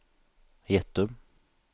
Gjettum